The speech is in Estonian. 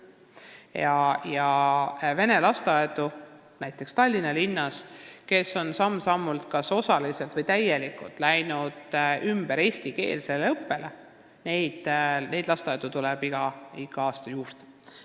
Neid vene lasteaedu, kes on näiteks Tallinna linnas läinud samm-sammult, kas osaliselt või täielikult üle eestikeelsele õppele, tuleb igal aastal juurde.